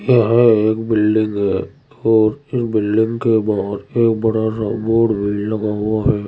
यह एक बिल्डिंग है और ये बिल्डिंग के बाहर के बड़ा बोर्ड लगा हुआ है।